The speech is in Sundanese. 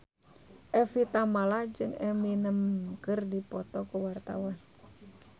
Evie Tamala jeung Eminem keur dipoto ku wartawan